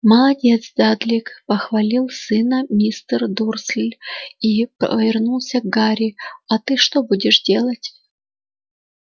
молодец дадлик похвалил сына мистер дурсль и повернулся к гарри а ты что будешь делать